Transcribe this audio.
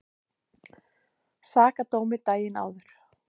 Sakadómi daginn áður.